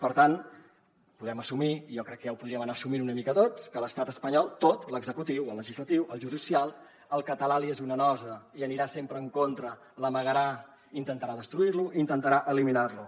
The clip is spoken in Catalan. per tant podem assumir jo crec que ja ho podríem anar assumint una mica tots que a l’estat espanyol tot a l’executiu al legislatiu al judicial el català li és una nosa hi anirà sempre en contra l’amagarà intentarà destruir lo i intentarà eliminar lo